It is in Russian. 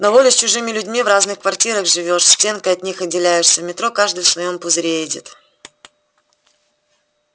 на воле с чужими людьми в разных квартирах живёшь стенкой от них отделяешься в метро каждый в своём пузыре едет